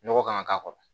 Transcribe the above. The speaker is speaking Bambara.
Nɔgɔ kan ka k'a kɔrɔ